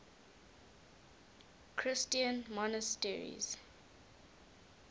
christian monasteries